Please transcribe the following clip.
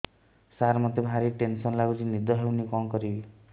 ସାର ମତେ ଭାରି ଟେନ୍ସନ୍ ଲାଗୁଚି ନିଦ ହଉନି କଣ କରିବି